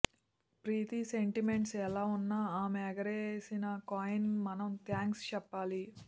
ప్రీతి sentiments ఎలా ఉన్నా ఆమె ఎగరేసిన కాయిన్కు మనం థ్యాంక్స్ చెప్పాలి